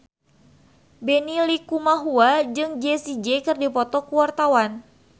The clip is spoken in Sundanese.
Benny Likumahua jeung Jessie J keur dipoto ku wartawan